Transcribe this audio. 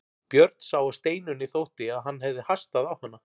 Björn sá að Steinunni þótti að hann hafði hastað á hana.